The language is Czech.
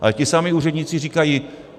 Ale ti samí úředníci říkají.